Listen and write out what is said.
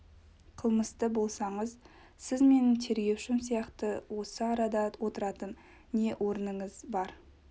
қылмысты болсаңыз сіз менің тергеушім сияқты осы арада отыратын не орныңыз бар